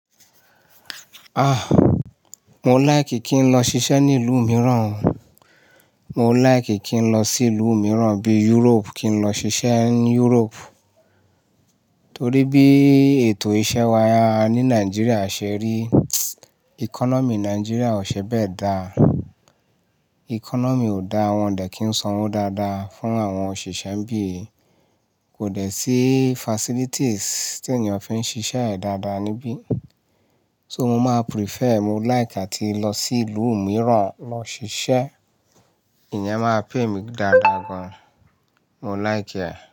Ah, mo like kin lọ ṣiṣẹ́ ní ìlú mìíràn. Mo like kin lọ sí ìlú mìíràn bí Europe, kin lọ ṣiṣẹ́ ní Europe. Torí bí ètò iṣẹ́ wa ní Nigeria ṣe rí, economy Nigeria ò ṣe bẹ́ẹ̀ dá. Economy ò da, wọn ò dẹ̀ kín sanwó dáadáa fún àwọn òṣìṣẹ́ nibíi, kò dẹ̀ sí facilities tí ènìyàn fi ń ṣiṣẹ́ dáadáa níbí. So mo máa prefer, mo like àti lọ sí ìlú mìíràn lọ ṣiṣẹ́. Ìyẹn máa pay mí dáadáa gan. Mo like ẹ̀